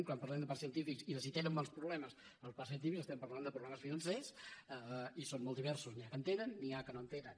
quan parlem de parcs científics i de si tenen molts problemes els parcs científics estem parlant de problemes financers i són molt diversos n’hi ha que en tenen n’hi ha que no en tenen